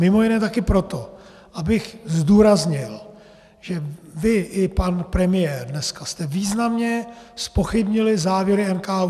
Mimo jiné také proto, abych zdůraznil, že vy i pan premiér dneska jste významně zpochybnili závěry NKÚ.